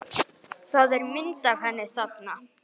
Það er mynd af henni þarna.